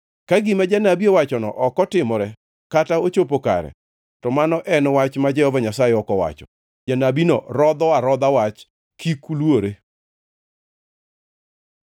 Ka gima janabi owachono ok otimore kata ochopo kare, to mano en wach ma Jehova Nyasaye ok owacho. Janabino rodho arodha wach, kik uluore.